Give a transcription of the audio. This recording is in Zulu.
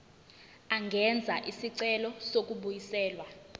angenza isicelo sokubuyiselwa